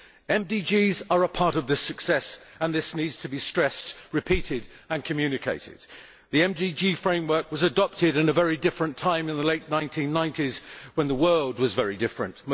The MDGs are a part of this success, and that needs to be stressed, repeated and communicated. The MDG framework was adopted in a very different time, in the late 1990s when the world was very different.